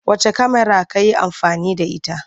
Wacce kyamara ka yi amfani da ita?